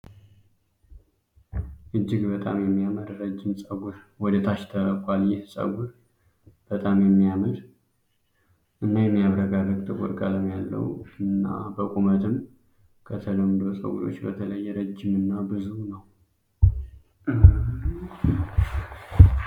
እጅግ በጣም የሚያምር ረጅም ጸጉር ወደታች ተለቋል። ይህ ጸጉር በጣም የሚያምር እን የሚያብረቀርቅ ጥቁር ቀለም ያለው እና በቁመትም ከተለምዶ ጸጉሮች በተለየ ረጅም እና ብዙ ነው።